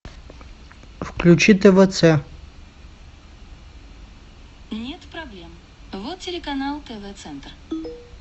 включи твц